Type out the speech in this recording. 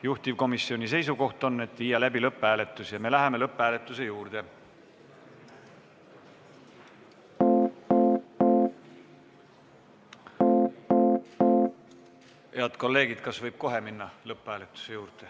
Juhtivkomisjoni seisukoht on, et tuleks viia läbi lõpphääletus ja me läheme lõpphääletuse juurde.